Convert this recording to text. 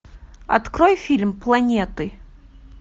открой фильм планеты